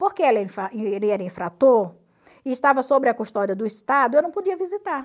Porque ele era infrator e estava sobre a custódia do Estado, eu não podia visitar.